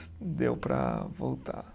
Deu para voltar.